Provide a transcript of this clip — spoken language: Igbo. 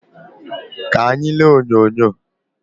Ka anyị lee onyonyo